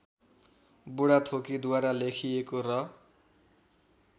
बुढाथोकीद्वारा लेखिएको र